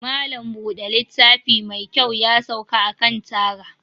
Malam Buda littafi mekyau yasauka akan taga.